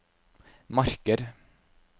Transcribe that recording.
Marker